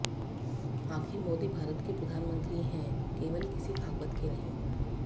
आखिर मोदी भारत के प्रधानमंत्री हैं केवल किसी भागवत के नहीं